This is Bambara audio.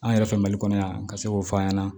An yɛrɛ fɛ mali kɔnɔ yan an ka se k'o fɔ an ɲɛna